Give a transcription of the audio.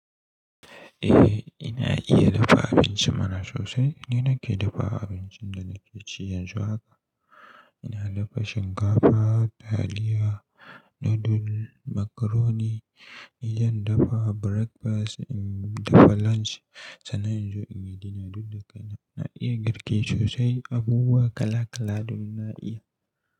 Eh ina iya dafa abinci mana sosai. Ni nake dafa abincin da nake ci yanzu haka. Ina dafa shinkafa, taliya, nudul, macaroni. In zan dafa breakfast, in dafa lunch sannan inzo inyi dinner duk da kai na. Na iya girki sosai, abubuwa kala kala duk na iya.